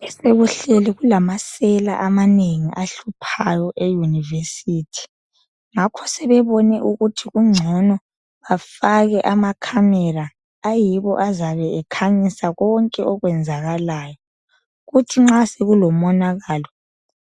Besekuhleli kulamasela amanengi ahluphayo eyunivesithi ngakho sebebone ukuthi kungcono bafake amacamera ayiwo azabe ekhanyisa konke okwenzakalayo kuthi nxa sebelomonakalo